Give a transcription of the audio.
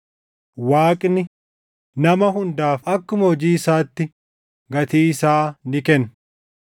Waaqni, “Nama hundaaf akkuma hojii isaatti gatii isaa ni kenna.” + 2:6 \+xt Far 62:12; Fak 24:12\+xt*